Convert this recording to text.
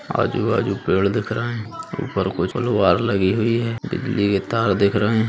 आजू बाजू पेड़ दिख रहे हैं ऊपर कुछ लगी हुई है बिजली के तार दिख रहे हैं ।